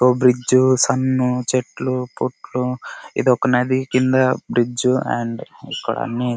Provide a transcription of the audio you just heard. ఓ bridge సన్ చెట్లు పుట్లు ఇదొక నది. కింద